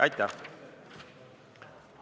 Aitäh!